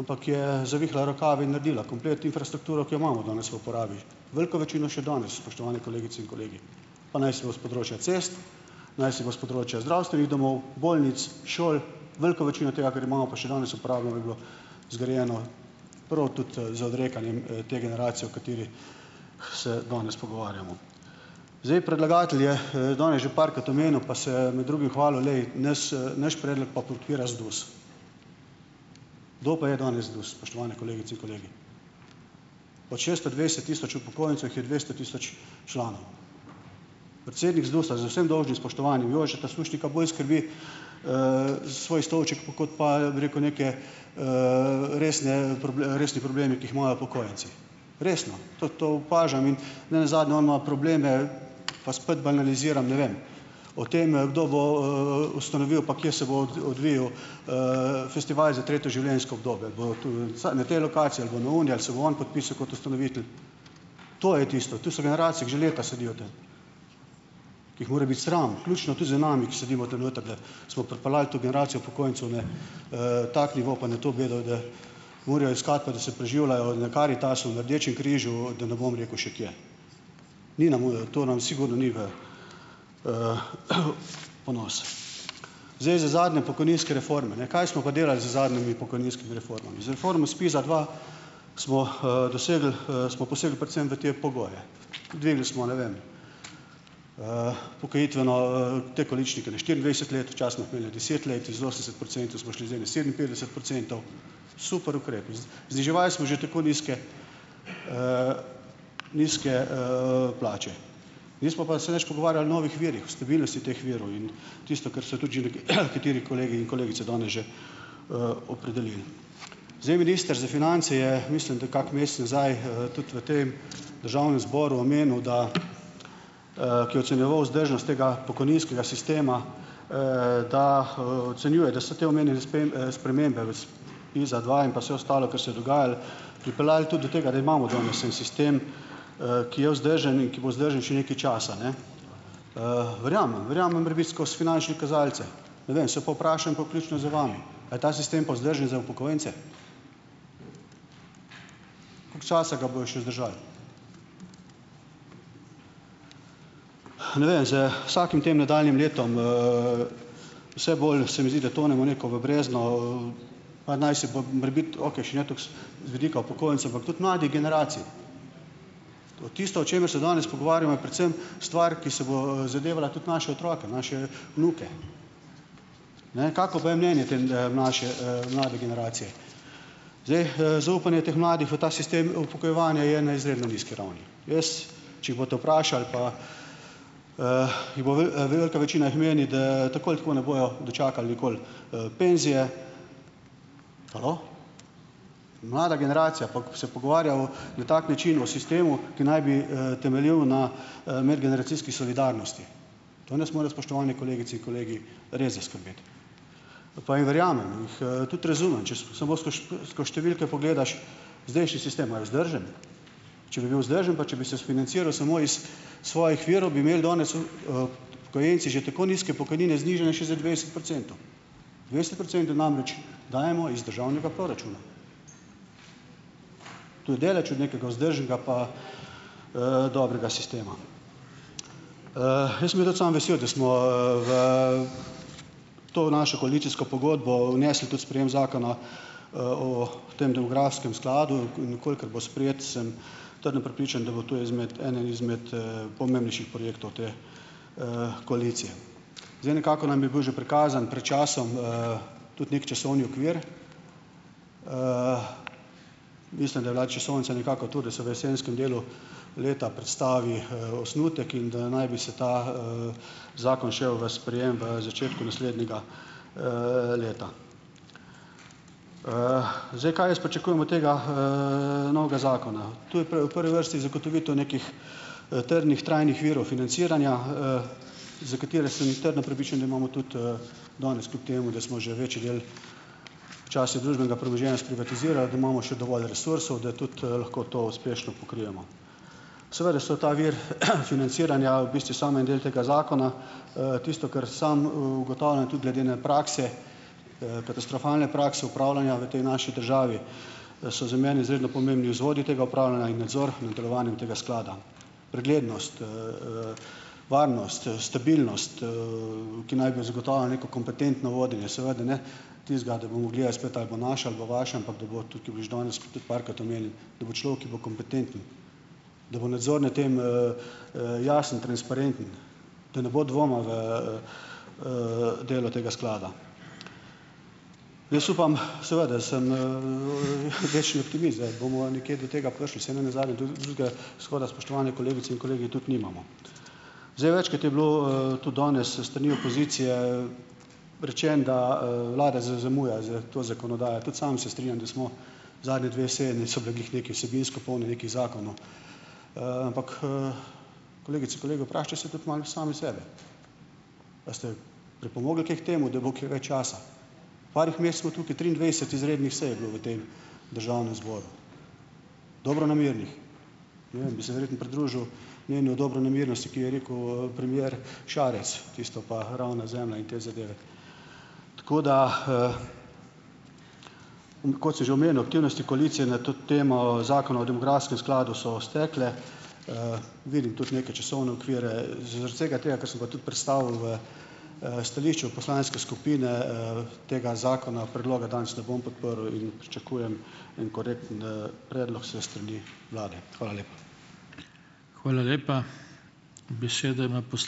ampak je zavihala rokave in naredila komplet infrastrukturo, ki jo imamo danes v uporabi. Veliko večino še danes, spoštovani kolegice in kolegi. Pa naj si bo s področja cest, naj si bo s področja zdravstvenih domov, bolnic, šol, veliko večino tega, kar imamo pa še danes uporabljamo, je bilo zgrajeno prav tudi z odrekanjem te generacije, o kateri se danes pogovarjamo. Zdaj, predlagatelj je danes že parkrat omenil pa se med drugim hvalil, glej nas naš predlog pa podpira ZDUS. Kdo pa je danes ZDUS, spoštovane kolegice in kolegi? Ot šeststo dvajset tisoč upokojencev jih je dvesto tisoč članov. Predsednik ZDUS-a, z vsem dolžnim spoštovanjem, Jožeta Sušnika bolj skrbi svoj stolček, kot pa, bi rekel, neke resne resni problemi, ki jih imajo upokojenci . Resno. Tudi to opažam in nenazadnje on ima probleme, pa spet banaliziram, ne vem, o tem, kdo bo ustanovil pa kje se bo odvijal e festival za Tretje življenjsko obdobje. Bo to na tej lokaciji ali bo na oni ali se bo on podpisal kot ustanovitelj. To je tisto. Tu so generacije, ki že leta sedijo tam. Ki jih mora biti sram, ključno tudi z nami, ki sedimo tam noter, da smo pripeljali to generacijo upokojencev na tak nivo pa na to bedo, da morajo iskati pa da se preživljajo na Karitasu, na Rdečem križu, da ne bom rekel še kje. Ni nam , to nam sigurno ni v ponos. Zdaj za zadnje pokojninske reforme , ne. Kaj smo pa delali z zadnjimi pokojninskimi reformami? Z reformo SPIZ-a dva smo dosegli smo posebej predvsem v te pogoje. Dvignili smo, ne vem, upokojitveno te količnike na štiriindvajset let, deset let, iz osemdeset procentov smo šli zdaj na sedeminpetdeset procentov. Super ukrepi. zniževal smo že tako nizke nizke plače. Nismo pa se nič pogovarjali o novih virih, o stabilnosti teh virov in tisto, kar so tudi že nekateri kolegi in kolegice danes že opredelili. Zdaj minister za finance je, mislim, da kak mesec nazaj tudi v tem Državnem zboru omenil, da ki je ocenjeval vzdržnost tega pokojninskega sistema, da ocenjuje, da so te omenjene spremembe v SPIZ-a dva in pa vse ostalo, kar se je dogajalo, pripeljali tudi do tega, da imamo danes en sistem ki je vzdržen in ki bo vzdržen še nekaj časa, ne. verjamem, verjamem prebit skozi finančne kazalce. Ne vem. Se pa vprašam pa vključno z vami . A je ta sistem pa vzdržen za upokojence? Koliko časa ga bojo še vzdržali? ne vem, z vsakim tem nadaljnjim letom, vse bolj se mi zdi, da tonemo neko v brezno pa naj si bo morebiti okej, še ne tako z vidika upokojencev, ampak tudi mladih generacij. Tisto, o čemer se danes pogovarjamo, je predvsem stvar, ki se bo zadevala tudi naše otroke, naše vnuke. Ne. Kako pa je mnenje te mlajše, mlade generacije ? Zdaj, zaupanje teh mladih v ta sistem upokojevanja je na izredno nizki ravni, ne. Jaz, če jih boste vprašali, pa jih bo velika večina jih meni, da tako ali tako ne bojo dočakali nikoli penzije. Halo? Mlada generacija, pa ko se pogovarjamo na tak način o sistemu, ki naj bi temeljil na medgeneracijski solidarnosti. To nas mora, spoštovane kolegice in kolegi, res zaskrbeti. Pa jim verjamem. Jih tudi razumem, če samo skoš skoz številke pogledaš, zdajšnji sistem, a je vzdržen? Če bi bil vzdržen pa če bi se sfinanciral samo iz svojih virov, bi imeli danes upokojenci že tako nizke pokojnine, znižane še za dvajset procentov. Dvajset procentov namreč dajemo iz državnega proračuna. To je daleč od nekega vzdržnega pa dobrega sistema. jaz sem bil tudi sam vesel, da smo v , to našo koalicijsko pogodbo vnesli tudi sprejem zakona o tem demografskem skladu. In v kolikor bo sprejet, sem trdno prepričan, da bo to izmed, ena izmed pomembnejših projektov te koalicije. Zdaj nekako nam je bil že prikazan pred časom tudi neki časovni okvir. mislim, da je bila časovnica nekako to, da so v jesenskem delu leta predstavili osnutek in da naj bi se ta zakon šel v sprejem začetku naslednjega leta. zdaj, kaj jaz pričakujem od tega novega zakona? To je v prvi vrsti zagotovitev nekih trdnih, trajnih virov financiranja, za katere sem jaz trdno prepričan, da imamo tudi danes, kljub temu, da smo že večji del času družbenega premoženja sprivatizirali , da imamo še dovolj resursov, da tudi lahko to uspešno pokrijemo. Seveda so ta vir financiranja v bistvu samo en del tega zakona, tisto, kar sam ugotavljam, je tudi glede, ne, prakse, katastrofalne prakse upravljanja v tej naši državi, da so za mene izredno pomembni vzvodi tega upravljanja in nadzora nad delovanjem tega sklada. Preglednost, varnost stabilnost, ki naj bi zagotavljala neko kompetentno vodenje, seveda ne tistega, da bomo gledali spet ali bo naša, a bo vaša, ampak da bo, tukaj je bilo že danes parkrat omenili, da bo človek, ki bo kompetenten, da bo nadzor nad tem jasno, transparenten, da ne bo dvoma v delo tega sklada. Jaz upam, seveda sem večni optimist, da bomo nekje do tega prišli, saj nam nenazadnje drugega izhoda, spoštovane kolegice in kolegi, tudi nimamo . Zdaj, večkrat je bilo tudi danes s strani opozicije rečeno, da vlada zamuja s to zakonodajo. Tudi sam se strinjam, da smo zadnje dve seje niso bile glih nekaj vsebinsko polne nekih zakonov. ampak kolegice, kolegi vprašajte se tudi malo sami sep. A ste pripomogli kaj k temu, da bo kaj več časa? Parih mesecev tukaj triindvajset izrednih sej je bilo v tem Državnem zboru. Dobronamernih. Ne vem, bi se verjetno pridružil njeni dobronamernosti, ki je rekel premier Šarec. Tisto pa ravna zemlja in te zadeve. Tako da, Kot sem že omenil, aktivnosti koalicije na to temo Zakona o demografskem skladu so stekle, vidim tudi neke časovne okvire, zaradi vsega tega, kar sem pa tudi predstavil v stališču poslanske skupine, tega zakona, predloga danes ne bom podprl in pričakujem en korekten predlog s strani vlade. Hvala lepa.